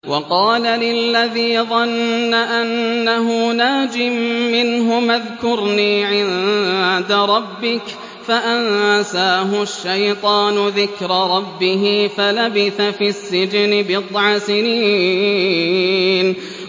وَقَالَ لِلَّذِي ظَنَّ أَنَّهُ نَاجٍ مِّنْهُمَا اذْكُرْنِي عِندَ رَبِّكَ فَأَنسَاهُ الشَّيْطَانُ ذِكْرَ رَبِّهِ فَلَبِثَ فِي السِّجْنِ بِضْعَ سِنِينَ